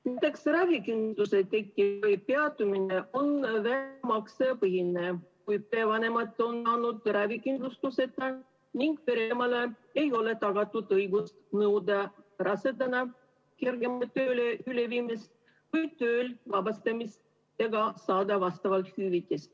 Näiteks ravikindlustuse tekkimine või peatumine on väljamaksepõhine, kuid perevanemad on olnud ravikindlustuseta ning pereemale ei ole tagatud õigust nõuda rasedana kergemale tööle üleviimist või töölt vabastamist ega saada vastavalt hüvitist.